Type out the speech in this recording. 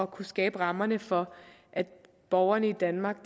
kunne skabe rammerne for at borgerne i danmark